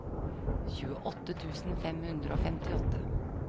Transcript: tjueåtte tusen fem hundre og femtiåtte